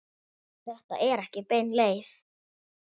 Þetta er ekki bein leið.